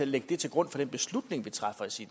lægge det til grund for den beslutning vi træffer til